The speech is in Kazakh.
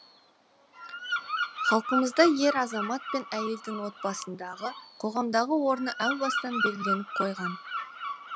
халқымызда ер азамат пен әйелдің отбасындағы қоғамдағы орны әу бастан белгіленіп қойған